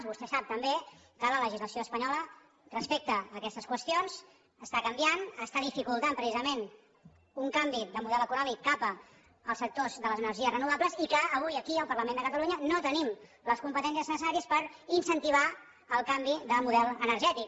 vostè sap també que la legislació espanyola respecte a aquestes qüestions està canviant està dificultant precisament un canvi de model econòmic cap als sectors de les energies renovables i que avui aquí al parlament de catalunya no tenim les competències necessàries per incentivar el canvi de model energètic